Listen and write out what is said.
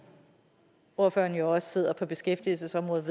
ordføreren jo også sidder på beskæftigelsesområdet